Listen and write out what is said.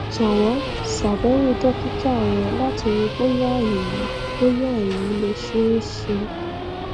jọwọ ṣàbẹwò dókítà rẹ láti rí bóyá èyí bóyá èyí le ṣeé ṣe